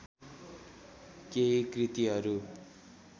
केही कृतिहरू